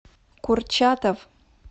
курчатов